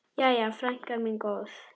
Jæja, frænka mín góð.